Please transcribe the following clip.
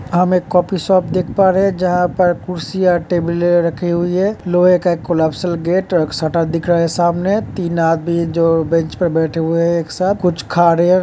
हम एक coffee shop देख पा रहे हैं जहाँ पर कुर्सियाँ टेबले रखी हुई हैं। लोहे का एक कोलॅप्सिबल गेट सटा दिख रहा है सामने तीन आदमी जो बेंच पर बैठे हुए हैं। एक साथ कुछ खा रहे हैं।